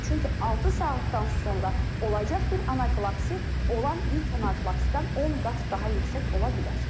Çünki altı saatdan sonra olacaq bir anafilaksi olan ilk anafilaksidən 10 qat daha yüksək ola bilər.